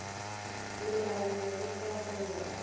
monaganong le go kago ya